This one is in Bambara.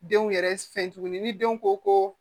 Denw yɛrɛ fɛ tuguni ni denw ko ko